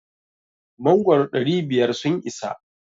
Mangoro ɗari biyar sun isa?